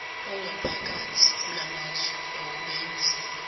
ongaphakathi kulamazwe kubenzima